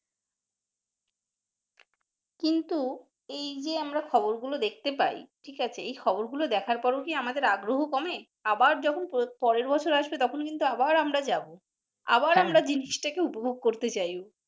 কিন্তু এইযে আমরা খবর গুলো দেখতে পাই ঠিক আছে এই খবর গুলো দেখার পর ও কি আমাদের আগ্রহ কমে আবার যখন পরের বছর আসবে তখন কিন্তু আবার আমরা যাবো, আবার আমরা জিনিসটাকে উপভোগ করতে যাই।